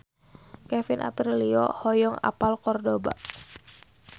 Kevin Aprilio hoyong apal Kordoba